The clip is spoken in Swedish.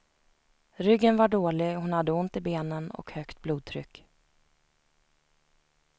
Ryggen var dålig, hon hade ont i benen och högt blodtryck.